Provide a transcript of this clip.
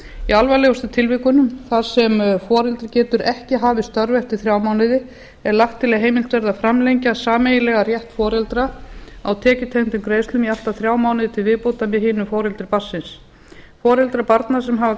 í alvarlegustu tilvikunum þar sem foreldri getur ekki hafið störf eftir þrjá mánuði er lagt til að heimilt verði að framlengja sameiginlegan rétt foreldra á tekjutengdum greiðslum í allt að þrjá mánuði til viðbótar með hinu foreldri barnsins foreldrar barna sem hafa